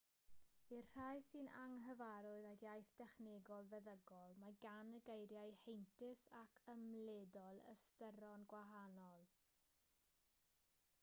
i'r rhai sy'n anghyfarwydd ag iaith dechnegol feddygol mae gan y geiriau heintus ac ymledol ystyron gwahanol